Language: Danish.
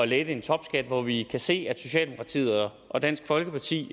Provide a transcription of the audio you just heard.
lette en topskat når vi kan se at socialdemokratiet og dansk folkeparti